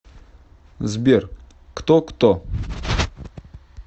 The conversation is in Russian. сбер кто кто